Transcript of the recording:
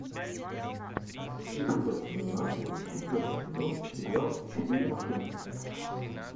эпизод семнадцать четвертый сезон сериал четыре машинки